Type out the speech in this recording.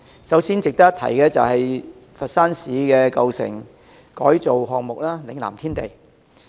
首先，值得一提的是佛山市的舊城改造項目——嶺南天地。